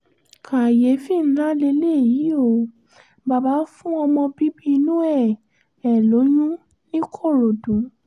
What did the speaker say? kàyééfì ńlá leléyìí ò bàbá fún ọmọ bíbí inú ẹ̀ ẹ́ lóyún ńìkòròdú